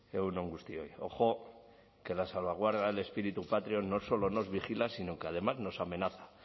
egun on guztioi ojo que la salvaguarda del espíritu patrio no solo nos vigila sino que además nos amenaza